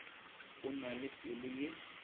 o na le pelo ye